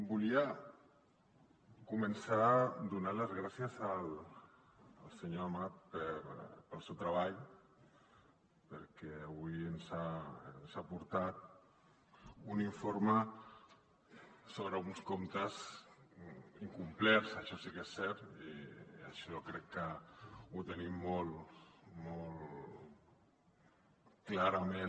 volia començar donant les gràcies al senyor amat pel seu treball perquè avui ens ha portat un informe sobre uns comptes incomplets això sí que és cert això crec que ho tenim molt molt clarament